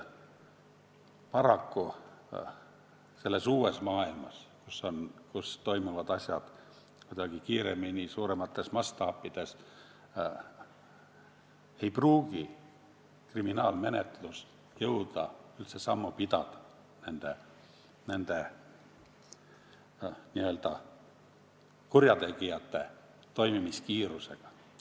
Paraku, selles uues maailmas, kus asjad toimuvad kuidagi kiiremini ja suuremates mastaapides, ei pruugi kriminaalmenetlus jõuda üldse sammu pidada nende n-ö kurjategijate toimimiskiirusega.